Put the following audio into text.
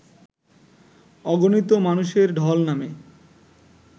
অগণিত মানুষের ঢল নামে